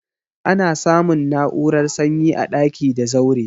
Ana samun na'urar sanyi a daki da zaure.